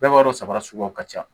Bɛɛ b'a dɔn saba suguya ka ca